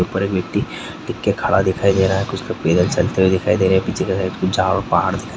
ऊपर इ मिटटी टिक के खड़ा दिखाई दे रहा कुछ तो पैदल चलते दिखाई दे रहे है पीछे के साइड झाड़ और पहाड़ दिखाई--